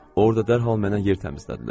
Orda dərhal mənə yer təmizlədilər.